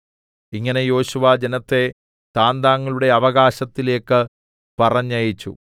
ഇങ്ങനെ യോശുവ ജനത്തെ താന്താങ്ങളുടെ അവകാശത്തിലേക്ക് പറഞ്ഞയച്ചു